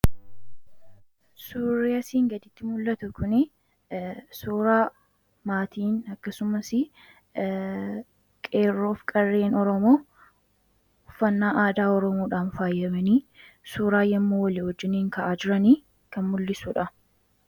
suurria siin gaditti mul'atu kun, suuraa maatin akkasumas qeerroo fi qarreen oromoo, uffannaa aadaa oromoodhaan faayyamanii suuraa yommoo walii wajjiniin ka'aa jiranii kan mul'isuudha